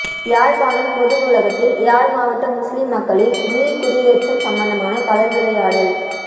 யாழ்ப்பாணம் பொது நூலகத்தில் யாழ் மாவட்ட முஸ்லீம் மக்களின் மீள் குடீயேற்றம் சம்பந்தமான கலந்துரையாடல்